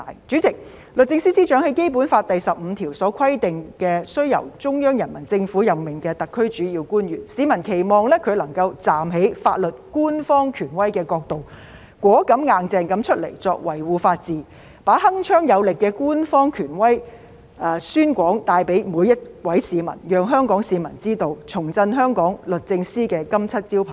主席，律政司司長是《基本法》第十五條規定須由中央人民政府任命的特區主要官員，市民期望她能夠站在法律官方權威的角度，果敢、"硬淨"地出來維護法治，把鏗鏘有力的官方權威宣廣帶給每位市民，讓香港市民知道，重振香港律政司的金漆招牌。